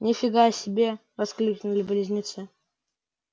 ни фига себе воскликнули близнецы